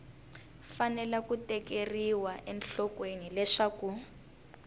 fanele ku tekeriwa enhlokweni leswaku